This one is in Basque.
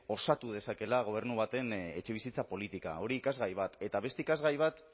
osatu dezakeela gobernu baten etxebizitza politika hori ikasgai bat eta beste ikasgai bat